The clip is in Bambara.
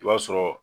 I b'a sɔrɔ